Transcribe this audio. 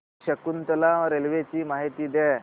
Shakuntala railway ची माहिती द्या